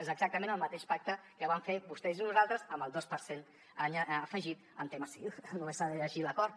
és exactament el mateix pacte que van fer vostès i nosaltres amb el dos per cent afegit al tema sig només s’ha de llegir l’acord